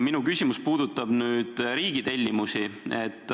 Minu küsimus puudutab aga riigi tellimusi.